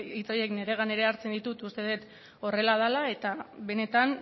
hitz horiek nire gain hartzen ditut uste dut horrela dela eta benetan